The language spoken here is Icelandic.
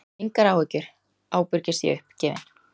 Engar áhyggjur, ábyrgist ég uppgefin.